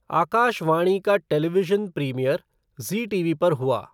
आकाश वाणी का television premiere Zee TV पर हुआ।